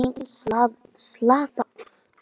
Enginn slasaðist í eldinum